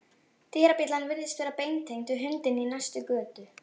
Dyrabjallan virðist vera beintengd við hundinn í næstu götu.